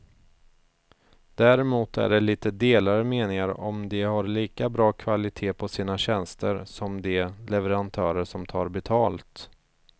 Däremot är det lite delade meningar om de har lika bra kvalitet på sina tjänster som de leverantörer som tar betalt.